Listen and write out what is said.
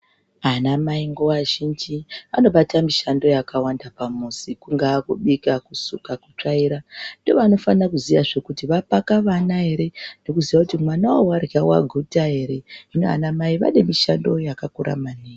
Anamai nguva zhinji anobata mishando yakawanda pamuzi kungaa kubika, kusuka, kutsvaira ndiwo anofanira kuziyazve kuti vapaka vana ere nekuziya kuti mwana uyu varya vaguta ere, hino ana mai vane mishando yakakura maningi.